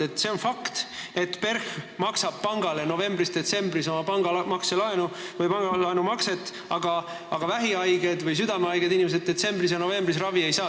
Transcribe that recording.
Aga see on fakt, et PERH maksab pangale novembris-detsembris oma pangalaenutasu, aga vähihaiged või südamehaiged inimesed detsembris ja novembris ravi ei saa.